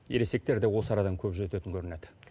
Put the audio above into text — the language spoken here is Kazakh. ересектерде осы арадан көп өтетін көрінеді